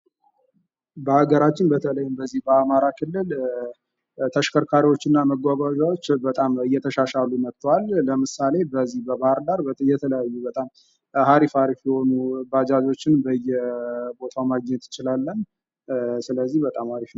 በሀገራችን በተለይም በዚህ በአማራ ክልል ተሽከርካሪዎች እና መጓጓዣዎች በጣም እየተሻሻሉ መጥተዋል። ለምሳሌ ፦ በዚህ በባህርዳር የተለያዩ በጣም አሪፍ አሪፍ የሆኑ ባጃጆችን በየቦታው ማግኘት እንችላለን፤ ስለዚህ በጣም አሪፍ ነው።